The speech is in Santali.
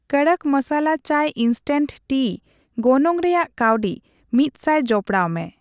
ᱠᱚᱫᱚᱠ ᱢᱚᱥᱟᱞᱟ ᱪᱟ ᱜᱚᱱᱚᱝ ᱨᱮᱭᱟᱜ ᱠᱟᱣᱰᱤ ᱑00 ᱡᱚᱯᱚᱲᱟᱣᱢᱮ᱾